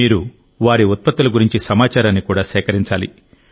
మీరు వారి ఉత్పత్తుల గురించి సమాచారాన్ని కూడా సేకరించాలి